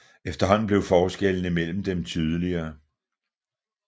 Efterhånden blev forskellene mellem dem tydeligere